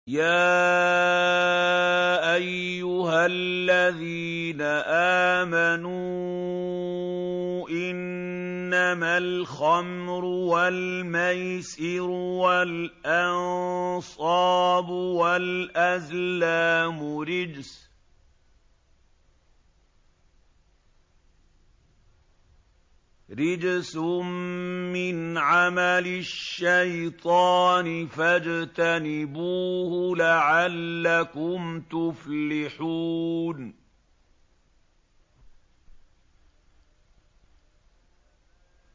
يَا أَيُّهَا الَّذِينَ آمَنُوا إِنَّمَا الْخَمْرُ وَالْمَيْسِرُ وَالْأَنصَابُ وَالْأَزْلَامُ رِجْسٌ مِّنْ عَمَلِ الشَّيْطَانِ فَاجْتَنِبُوهُ لَعَلَّكُمْ تُفْلِحُونَ